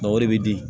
o de bɛ di